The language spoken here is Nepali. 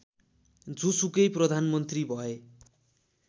जोसुकै प्रधानमन्त्री भए